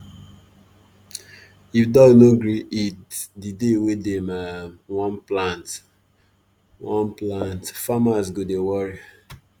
if dog no gree eat the day wey dem um wan plant wan plant farmers go dey worry